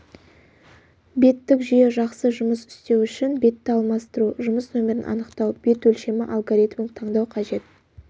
беттік жүйе жақсы жұмыс істеу үшін бетті алмастыру жұмыс нөмірін анықтау бет өлшемі алгоритмін таңдау қажет